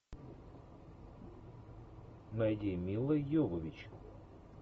найди милла йовович